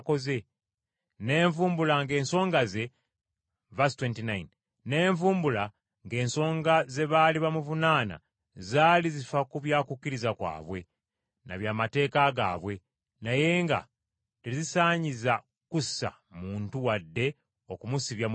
Ne nvumbula ng’ensonga ze baali bamuvunaana zaali zifa ku bya kukkiriza kwabwe na by’amateeka gaabwe naye nga tezisaanyiza kussa muntu wadde okumusibya mu kkomera.